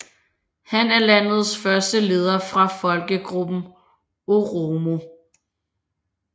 Han er landets første leder fra folkegruppen oromo